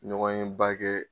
Ɲɔgɔnyeba kɛ.